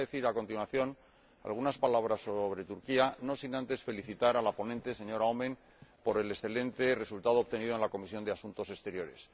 Quisiera decir a continuación algunas palabras sobre Turquía, no sin antes felicitar a la ponente, señora Oomen Ruijten, por el excelente resultado obtenido en la Comisión de Asuntos Exteriores.